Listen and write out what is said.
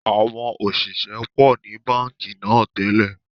Àwọn òṣìṣẹ́ pọ̀ ni Báńkì náà tẹ́lẹ̀